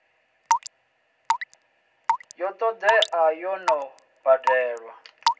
ya todea yo no badelwa